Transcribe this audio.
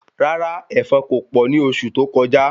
Rárá èfọn ko pọ ni oṣù tó kọjá